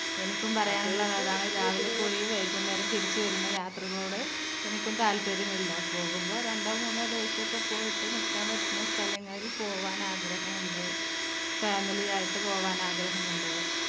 എനിക്കും പറയാനുള്ളത് അതാണ് രാവിലെ പോയി വൈകുന്നേരം തിരിച്ചു വരുന്ന യാത്രകളോട് എനിക്ക്ന്നു താൽപര്യമില്ല പോകുമ്പോൾ രണ്ടോ മൂന്നോ ദിവസമൊക്കെ പോയിട്ട് നിക്കാൻ പറ്റുന്ന സ്ഥലങ്ങളിൽ പോവാൻ ആഗ്രഹമുണ്ട് family ആയിട്ട് പോകാന്‍ ആഗ്രഹമുണ്ട്